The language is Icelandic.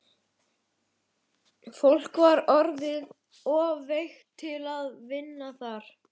Fólk var orðið of veikt til að vinna þar.